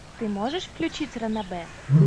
ты можешь включить ранобэ